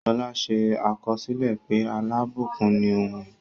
Ṣọlá ṣe àkọsílẹ̀ pé alábùkún ni òun.